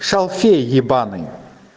шалфей ебаный